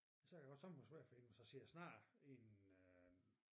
Så kan det godt sørme være svær for hende hvis vi siger jeg snakker i en øh